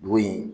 Bo yen